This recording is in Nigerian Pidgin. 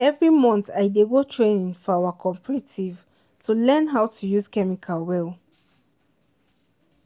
every month i dey go training for our cooperative to learn how to use chemical well.